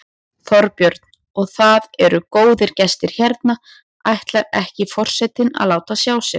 Þorbjörn: Og það eru góðir gestir hérna, ætlar ekki forsetinn að láta sjá sig?